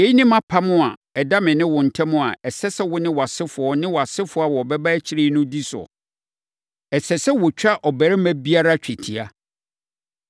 Yei ne mʼapam a ɛda me ne wo ntam a ɛsɛ sɛ wo ne wʼasefoɔ ne wʼasefoɔ a wɔbɛba akyire no di so. Ɛsɛ sɛ wɔtwa ɔbarima biara twetia.